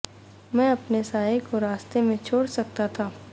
میں اپنے سائے کو رستے میں چھوڑ سکتا تھا